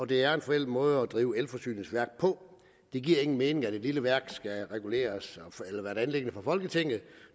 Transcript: det er en forældet måde at drive elforsyningsværk på det giver ingen mening at en lille værk skal reguleres af et anliggende for folketinget